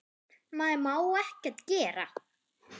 Maður má ekkert gera.